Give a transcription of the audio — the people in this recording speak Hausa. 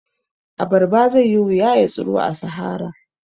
A barba zaiyi wuya ya tsiro a sahara